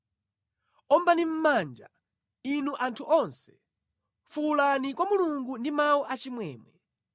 Ombani mʼmanja, inu anthu onse; fuwulani kwa Mulungu ndi mawu achimwemwe.